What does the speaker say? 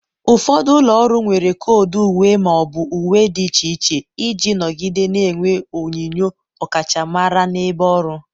ụfọdụ ụlọ ọrụ nwere koodu uwe ma ọ bụ uwe dị iche iche iji nọgide na-enwe onyinyo ọkachamara n'ebe ọrụ.